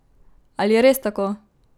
Ali je res tako?